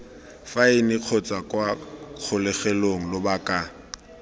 faene kgotsa kwa kgolegelong lobaka